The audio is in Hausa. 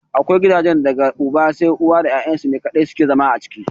Akwai gidajen da daga uba sai uwa da ya'yan su ne kaɗai suke zama a ciki.